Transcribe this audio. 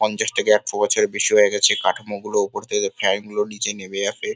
পঞ্চাশ থেকে একশো বছরের বেশি হয়ে গেছে কাঠামোগুলো ওপর থেকে ফ্যান -গুলো নিচে নেবে আসে।